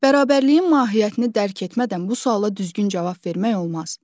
Bərabərliyin mahiyyətini dərk etmədən bu suala düzgün cavab vermək olmaz.